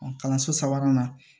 Kalanso sabanan na